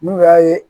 N'u y'a ye